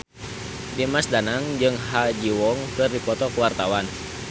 Dimas Danang jeung Ha Ji Won keur dipoto ku wartawan